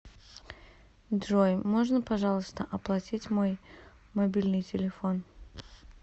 джой можно пожалуйста оплатить мой мобильный телефон